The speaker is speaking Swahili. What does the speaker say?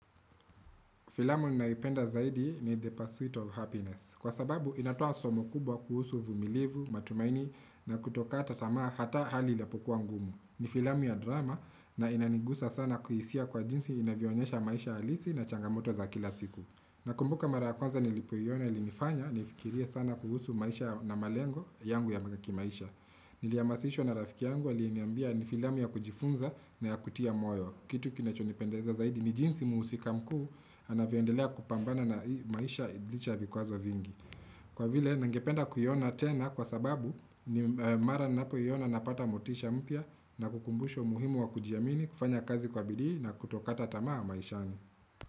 Filamu ninaipenda zaidi ni the pursuit of happiness. Kwa sababu, inatoa somo kubwa kuhusu uvumilivu, matumaini na kutoka tamaa hata hali ilapokuwa ngumu. Ni filamu ya drama na inanigusa sana kuhisia kwa jinsi inavionyesha maisha halisi na changamoto za kila siku. Na kumbuka mara kwanza nilipoyona ilinifanya nifikiria sana kuhusu maisha na malengo yangu ya magaki maisha. Niliyamasisho na rafiki yangu aliniambia ni filamu ya kujifunza na ya kutia moyo. Kitu kinachonipendeza zaidi ni jinsi muusika mkuu anaviondelea kupambana na maisha idlicha vikwazo vingi. Kwa vile nangependa kuyona tena kwa sababu ni mara ninapoyona napata motisha mpia na kukumbusho muhimu wa kujiamini kufanya kazi kwa bidi na kutokata tamaa maishani.